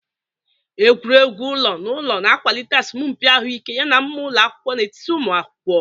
Egwuregwu ụlọ naụlọ na-akwalite asọmpi ahụike yana mmụọ ụlọ akwụkwọ n'etiti ụmụ akwụkwọ.